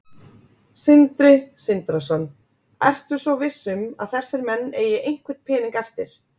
Sindri Sindrason: Ertu svo viss um að þessir menn eigi einhvern pening eftir?